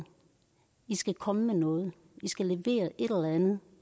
i skal komme med noget i skal levere et eller andet